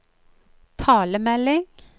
talemelding